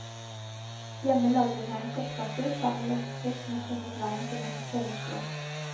Hjemme lager hun gjerne kjøttkaker sammen med gjester som har funnet veien til hennes kjellerstue.